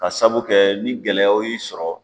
Ka sabu kɛ ni gɛlɛyaw y'i sɔrɔ